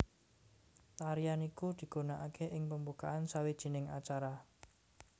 Tarian iku digunakake ing pembukaan sawijining acara